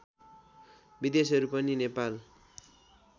विदेशीहरू पनि नेपाल